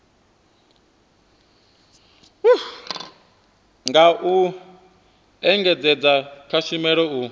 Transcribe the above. nga u engedzedza kushumele u